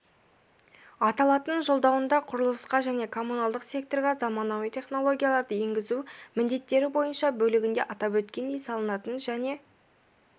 аталатын жолдауындағықұрылысқа және коммуналдық секторға заманауи технологияларды енгізу міндеттері бойынша бөлігінде атап өткендей салынатын және